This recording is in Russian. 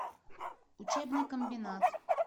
учебный комбинат